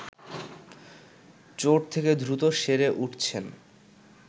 চোট থেকে দ্রুত সেরে উঠছেন